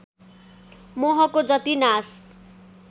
मोहको जति नाश